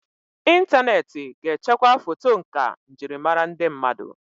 Ịntaneti ga echekwa foto nkà njirimara ndị mmadụ.